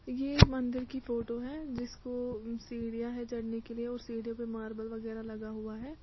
यह एक मंदिर की फोटो है जिसको सीढियाँ हैं चढ़ने के लिए औऱ सीढ़ियों पे मार्बल वगैरह लगा हुआ है।